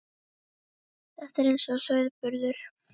Þetta er eins og sauðburður.